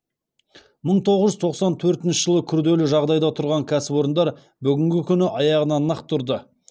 мың тоғыз жүз тоқсан төртінші жылы күрделі жағдайда тұрған кәсіпорындар бүгінгі күні аяғына нық тұрды